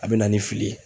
A bɛ na ni fili ye